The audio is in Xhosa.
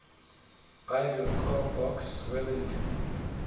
biblecor box wellington